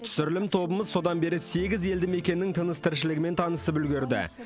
түсірілім тобымыз содан бері сегіз елді мекеннің тыныс тіршілігімен танысып үлгерді